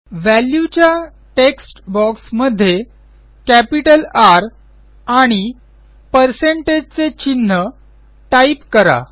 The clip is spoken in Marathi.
Valueच्या टेक्स्ट बॉक्स मध्ये कॅपिटल Rआणि पर्सेंटेज चे चिन्ह टाईप करा